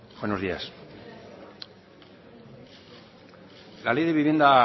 buenos días la ley de vivienda ha